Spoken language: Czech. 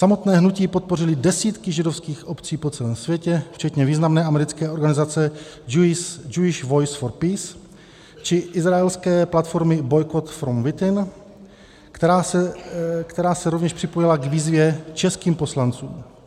Samotné hnutí podpořily desítky židovských obcí po celém světě, včetně významné americké organizace Jewish Voice for Peace či izraelské platformy Boycott From Within, která se rovněž připojila k výzvě českým poslancům.